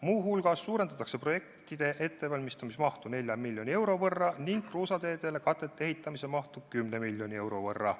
Muu hulgas suurendatakse projektide ettevalmistamise mahtu 4 miljoni euro võrra ning kruusateedele katete ehitamise mahtu 10 miljoni euro võrra.